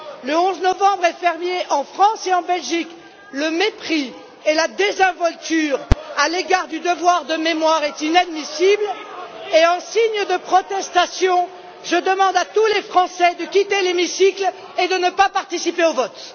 Le 11 novembre est un jour férié en France et en Belgique, le mépris et la désinvolture à l'égard du devoir de mémoire est inadmissible et en signe de protestation, je demande à tous les Français de quitter l'hémicycle et de ne pas participer au vote.